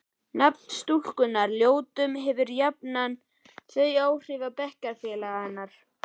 Nafn stúlkunnar, Ljótunn, hefur jafnan þau áhrif á bekkjarfélaga hennar